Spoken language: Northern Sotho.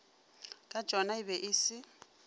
katšona e be e se